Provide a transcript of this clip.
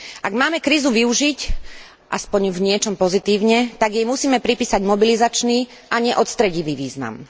Ak máme krízu využiť aspoň v niečom pozitívne, tak jej musíme pripísať mobilizačný, a nie odstredivý význam.